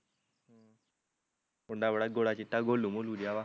ਮੁੰਡਾ ਬੜਾ ਗੋਰਾ ਚਿੱਟਾ ਗੋਲੂ ਮੋਲੁ ਜਿਹਾ ਵਾਂ